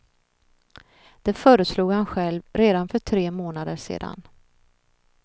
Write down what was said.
Det föreslog han själv redan för tre månader sedan.